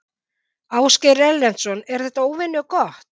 Ásgeir Erlendsson: Er þetta óvenju gott?